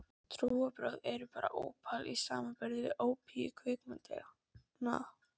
Trúarbrögð eru bara ópal í samanburði við ópíum kvikmyndanna.